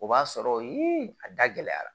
O b'a sɔrɔ a da gɛlɛyara